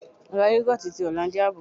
Ra Yogoti ti Hollandia bò.